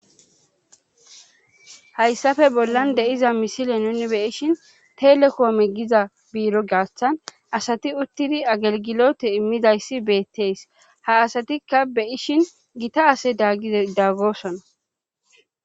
hayssafe bollan deiza misile nuni beyishin telekoome giza biiro gaaththan asati uttidi agelgilote immidayssi beetteys ha asatikka beyishin gita ase idaggosona